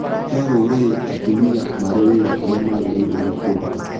He Rũrĩrĩ atumia nĩ marĩ wĩra ũrĩ mangĩrĩirwo nĩ kũruta.